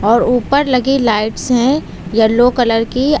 और ऊपर लगी लाइट्स है येलो कलर कि।